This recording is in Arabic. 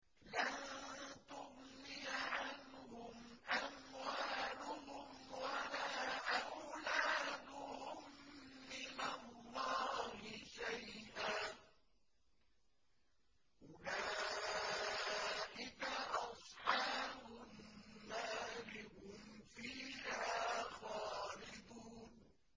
لَّن تُغْنِيَ عَنْهُمْ أَمْوَالُهُمْ وَلَا أَوْلَادُهُم مِّنَ اللَّهِ شَيْئًا ۚ أُولَٰئِكَ أَصْحَابُ النَّارِ ۖ هُمْ فِيهَا خَالِدُونَ